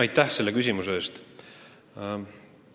Aitäh selle küsimuse eest!